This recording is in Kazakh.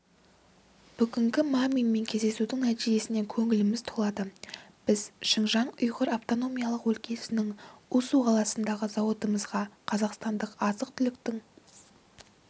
бүгінгі маминмен кездесудің нәтижесіне көңіліміз толады біз шыңжаң ұйғыр автономиялық өлкесінің усу қаласындағы зауытымызға қазақстанның азық-түліктік